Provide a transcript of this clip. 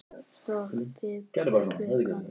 Stoppi hver klukka!